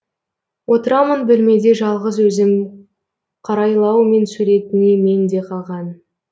отырамын бөлмеде жалғыз өзім қарайлаумен суретіңе менде қалған